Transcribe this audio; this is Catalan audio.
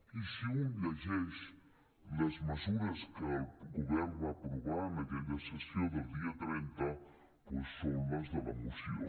i si un llegeix les mesures que el govern va aprovar en aquella sessió del dia trenta doncs són les de la moció